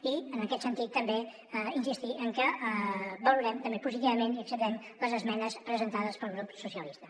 i en aquest sentit també insistir en que valorem també positivament i acceptem les esmenes presentades pel grup socialistes